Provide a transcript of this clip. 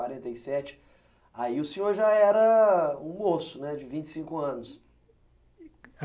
e sete. Aí o senhor já era um moço né, de vinte e cinco anos.